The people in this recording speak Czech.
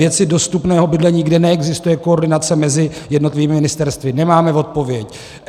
Věci dostupného bydlení, kde neexistuje koordinace mezi jednotlivými ministerstvy - nemáme odpověď.